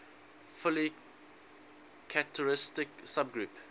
fully characteristic subgroup